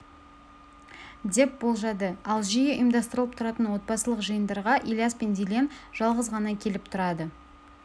деп болжады ал жиі ұйымдастырылып тұратын отбасылық жиындарға ильяс пен дильен жалғыз ғана келіп тұрады